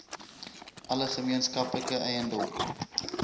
alle gemeenskaplike eiendom